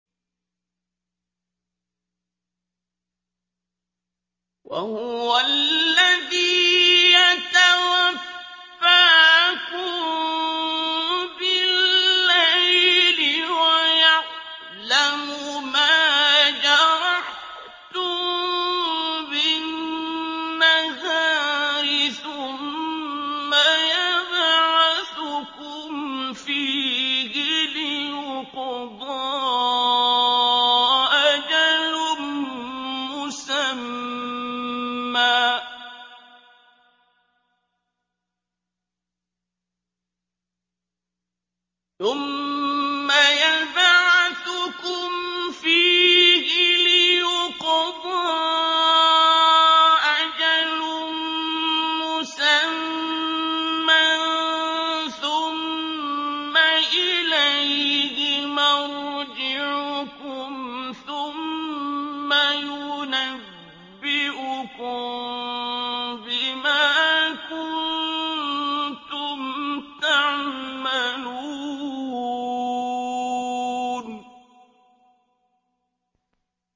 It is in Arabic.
وَهُوَ الَّذِي يَتَوَفَّاكُم بِاللَّيْلِ وَيَعْلَمُ مَا جَرَحْتُم بِالنَّهَارِ ثُمَّ يَبْعَثُكُمْ فِيهِ لِيُقْضَىٰ أَجَلٌ مُّسَمًّى ۖ ثُمَّ إِلَيْهِ مَرْجِعُكُمْ ثُمَّ يُنَبِّئُكُم بِمَا كُنتُمْ تَعْمَلُونَ